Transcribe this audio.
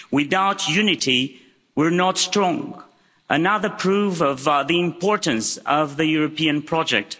Without unity, we're not strong another proof of the importance of the European project.